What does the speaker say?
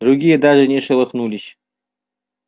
другие даже не шелохнулись